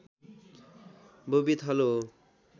बोबी थलो हो